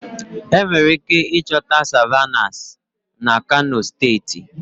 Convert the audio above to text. Enwere ike ịchọta Savannahs na kano steeti